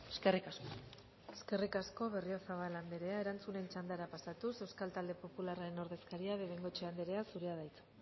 eskerrik asko eskerrik asko berriozabal andrea erantzunen txandara pasatuz euskal talde popularraren ordezkaria de bengoechea andrea zurea da hitza